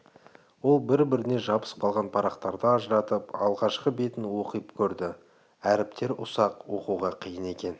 ол бір-біріне жабысып қалған парақтарды ажыратып алғашқы бетін оқып көрді әріптері ұсақ оқуға қиын екен